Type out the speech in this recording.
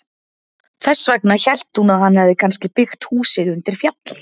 Þess vegna hélt hún að hann hefði kannski byggt húsið undir fjalli.